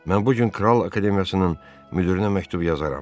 Mən bu gün kral akademiyasının müdirinə məktub yazaram.